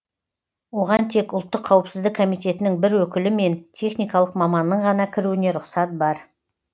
оған тек ұлттық қауіпсіздік комитетінің бір өкілі мен техникалық маманның ғана кіруіне рұқсат бар